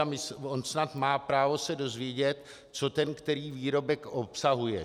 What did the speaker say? A on snad má právo se dozvědět, co ten který výrobek obsahuje.